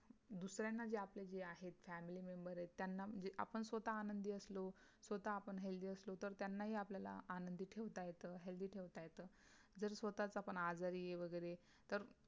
दुसर्यांना जे आपले जे आहेत FAMILY MEMBER आहेत त्यांना म्हणजे आपण स्वतः आनंदी असलो स्वतः आपण HEALTHY असलो तर त्यांनी ही आपल्याला आनंदी ठेवता येत HEALTHY ठेवता येत. जर स्वतः च आपण आजारी आहे वगैरे तर